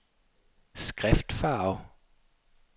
skriftfarve